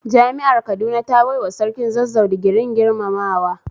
Jami'ar Kaduna ta baiwa Sarkin Zazzau digirin girmamawa